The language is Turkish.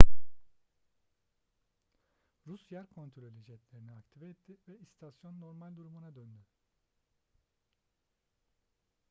rus yer kontrolü jetlerini aktive etti ve istasyon normal durumuna döndü